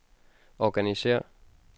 organisér